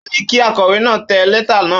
Ó ní kí akọ̀wé náà tẹ lẹ́tà náà.